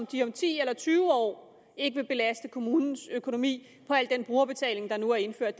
de om ti eller tyve år ikke vil belaste kommunens økonomi på al den brugerbetaling der nu er indført